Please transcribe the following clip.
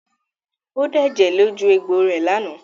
Ó dẹ̀jẹ̀ lójú egbò rẹ̀ lánàá?